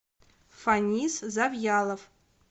фанис завьялов